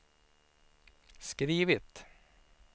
skrivit